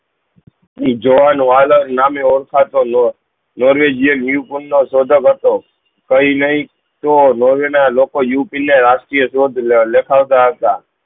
ઈ જોવાનું આદર ન મેં ઓળખાતો લો નોર્વે જ્યાં ઉપીન નો સૌદો કરતો કઈ નહી તો નોર્વે ના લોકો ઉપીન ને રાષ્ય્રીયધ્વજ લખાવતા હતા